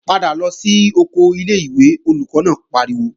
Padà lọ sí oko ilé-ìwé, Olùkọ́ náà pariwo!